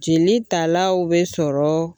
Jeli talaw be sɔrɔ